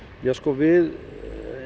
við